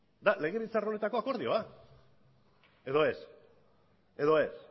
legebiltzar honetako akordioa edo ez edo ez